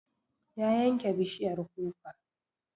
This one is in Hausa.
Ya yanke bishiyar kuka